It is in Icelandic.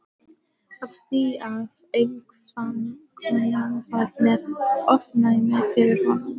Af því að einkavinkonan var með ofnæmi fyrir honum!